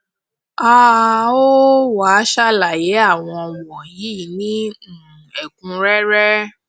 a um ó wá sàlàyé àwọn wọnyí ní um ẹkúnrẹrẹ